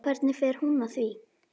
Hvernig fer hún að því?